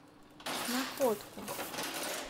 находку